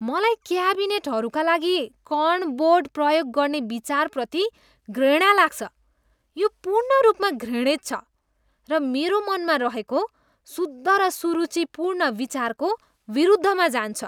मलाई क्याबिनेटहरूका लागि कण बोर्ड प्रयोग गर्ने विचारप्रति घृणा लाग्छ। यो पूर्ण रूपमा घृणित छ र मेरो मनमा रहेको शुद्ध र सुरुचिपूर्ण विचारको विरुद्धमा जान्छ।